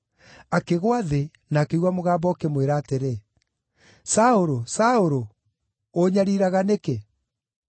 Akĩgũa thĩ, na akĩigua mũgambo ũkĩmwĩra atĩrĩ, “Saũlũ, Saũlũ, ũũnyariiraga nĩkĩ?”